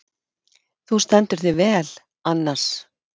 Þú stendur þig vel, Annas!